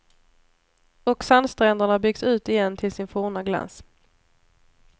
Och sandstränderna byggs ut igen till sin forna glans.